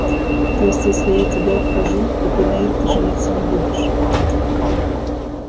то есть если я тебе откажу то ты на ирке жениться не будешь